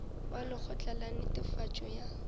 wa lekgotla la netefatšo ya